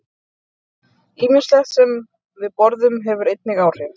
Ýmislegt sem við borðum hefur einnig áhrif.